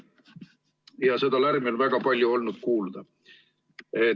Ja seda lärmi on meil väga palju olnud kuulda.